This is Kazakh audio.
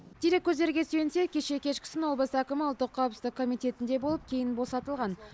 дереккөздерге сүйенсек кеше кешкісін облыс әкімі ұлттық қауіпсіздік комитетінде болып кейін босатылған